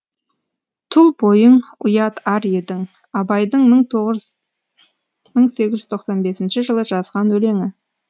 тұл бойың ұят ар едің абайдың мың тоғыз жүз мың сегіз тоқсан бесінші жылы жазған өлеңі